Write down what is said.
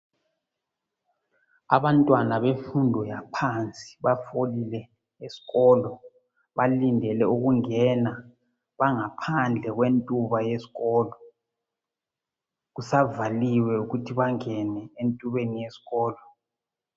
Abantwana bemfundo yaphansi bafolile eskolo, balindele ukungena . Bangaphandle kwentuba yeskolo, kusavaliwe ukuthi bengene entubeni yeskolo.